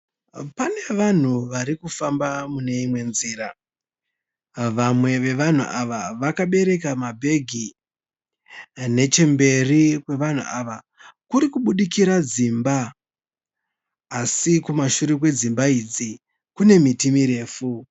Pane vanhu varikufamba mune imwe nzira. Vamwe vevanhu ava vakabereka mabhegi. Nechemberi kwevanhu ava kuri kubudikira dzimba asi kumashure kwedzimba idzi kune miti mirefu